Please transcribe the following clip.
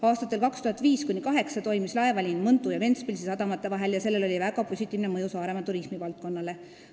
Aastatel 2005–2008 toimis laevaliin Mõntu ja Ventspilsi sadamate vahel ja sellel oli väga positiivne mõju Saaremaa turismivaldkonnale.